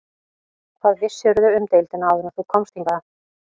Hvað vissirðu um deildina áður en þú komst hingað?